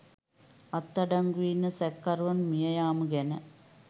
අත්අඩංගු‍වෙ ඉන්න සැකකරුවන් මියයාම ගැන.